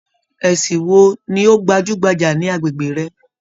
Ẹsìn wo ni o gbajúgbajà ní agbègbè rẹ?